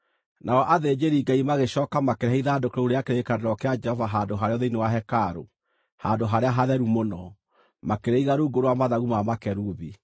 Nao athĩnjĩri-Ngai magĩcooka makĩrehe ithandũkũ rĩu rĩa kĩrĩkanĩro kĩa Jehova handũ harĩo thĩinĩ wa hekarũ, Handũ-harĩa-Hatheru-Mũno, makĩrĩiga rungu rwa mathagu ma makerubi.